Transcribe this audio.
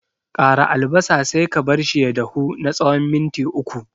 Ƙara albasa sai ka barshi ya dahu na tsawon minti uku.